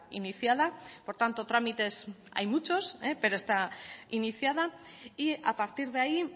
iniciada por tanto trámites hay muchos pero está iniciada y a partir de ahí